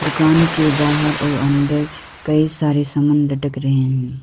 दुकान के बाहर और अंदर कई सारे सामन लटक रहे हैं।